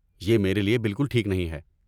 یہ میرے لئے بالکل ٹھیک نہیں ہے۔